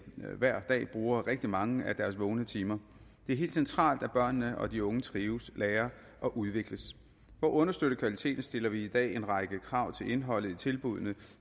hver dag bruger rigtig mange af deres vågne timer det er helt centralt at børnene og de unge trives lærer og udvikles for at understøtte kvaliteten stiller vi i dag en række krav til indholdet i tilbuddene